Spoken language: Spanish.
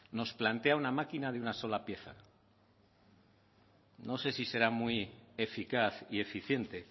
nos plantea una máquina de una sola pieza no sé si será muy eficaz y eficiente